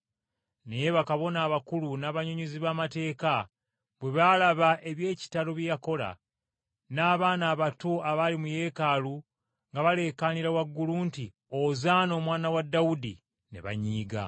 Naye bakabona abakulu n’abannyonnyozi b’amateeka bwe baalaba eby’ekitalo bye yakola, n’abaana abato abaali mu Yeekaalu nga baleekaanira waggulu nti, “Ozaana Omwana wa Dawudi!” ne banyiiga.